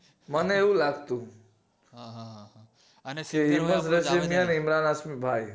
મને એવું લાગતું મને હિમેશ રેશમિયાઅને ઇમરાન હાસમી ભાઈ